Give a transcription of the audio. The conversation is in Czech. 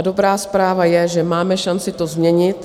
A dobrá zpráva je, že máme šanci to změnit.